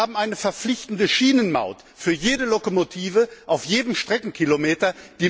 Wir haben eine verpflichtende Schienenmaut für jede Lokomotive auf jedem Streckenkilometer.